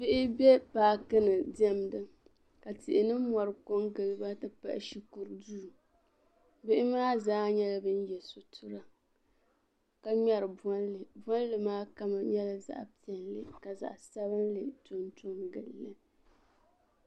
Bihi be paakini demda, ka tihi ni mɔri kon giliba ti pahi shikuru duu bihi maa zaa nyala ban ye sitira, ka ŋmeri bɔli bɔli maa kala nyɛla zaɣi piɛli ka zaɣi sabinli tonto ngili